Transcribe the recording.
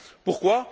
Pourquoi?